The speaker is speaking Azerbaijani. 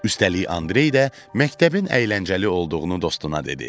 Üstəlik Andrey də məktəbin əyləncəli olduğunu dostuna dedi.